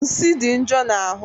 Nsi dị njo na ahụ